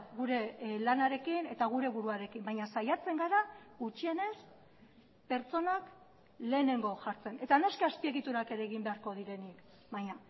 gure lanarekin eta gure buruarekin baina saiatzen gara gutxienez pertsonak lehenengo jartzen eta noski azpiegiturak ere egin beharko direnik baina